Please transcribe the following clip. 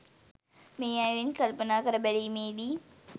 මේ අයුරින් කල්පනා කර බැලීමේදී